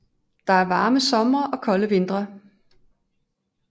Der er varme somre og kolde vintre